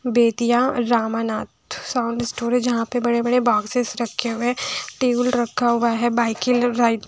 Bettiah Ramanath sound studio जहाँ पे बड़े-बड़े बॉक्सेस रखे हुए हैं टेबल रखा हुआ है बाइकिल राइड --